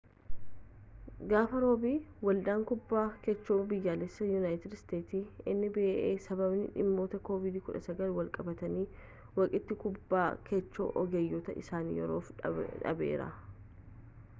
gaafa roobii ‘waldaan kubbaa kaachoo biyyaalessaa yuunaayitid isteetsi nba’n sababa dhimmoota covid-19n walqabatanniitiin waqtii kubbaa kaachoo ogeeyyotaa isaa yeroof dhaabeera